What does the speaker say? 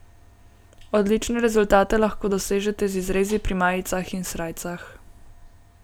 Odlične rezultate lahko dosežete z izrezi pri majicah in srajcah.